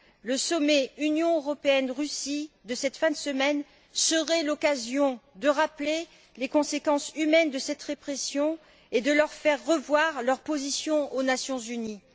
Le sommet Union européenne Russie de cette fin de semaine serait l'occasion de rappeler les conséquences humaines de cette répression et de faire revoir à la Russie sa position aux Nations unies.